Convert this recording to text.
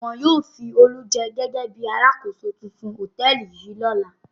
Wọn yóò fi Olú jẹ gẹ́gẹ́ bí alákòóso tuntun hòtẹ́ẹ́lì yìí lọ́la.